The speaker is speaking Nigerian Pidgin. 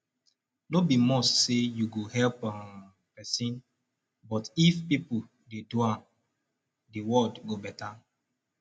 no be must say you go help um persin but if pipo de do am di world go better